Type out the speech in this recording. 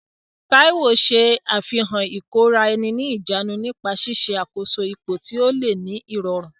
Taiwo ṣe àfihàn ìkóra-ẹni-níjàánu nípa ṣíṣe àkóso ipò tí ó le ní ìrọ̀rùn.